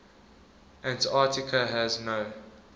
antarctica has no